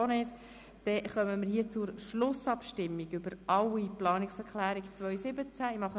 Damit kommen wir zur Schlussabstimmung über alle Planungserklärungen 2017.